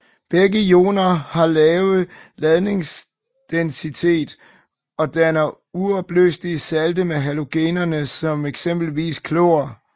Begge ioner har lave ladningsdensitet og danner uopløselige salte med halogenerne som eksempelvis klor